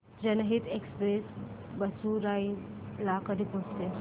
जनहित एक्सप्रेस बेगूसराई ला कधी पोहचते